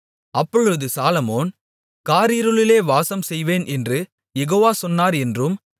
அப்பொழுது சாலொமோன் காரிருளிலே வாசம்செய்வேன் என்று யெகோவா சொன்னார் என்றும்